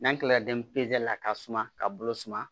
N'an kilala denmisɛnnin la ka suma ka bolo suma